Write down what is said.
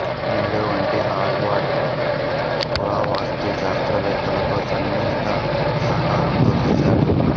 meadow వంటి Harvard పురావస్తు శాస్త్రవేత్తలతో సన్నిహిత సహకారంతో చేసాడు